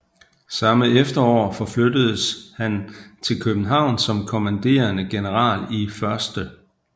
Samme efterår forflyttedes han til København som kommanderende general i 1